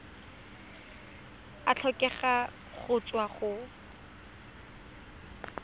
a tlhokega go tswa go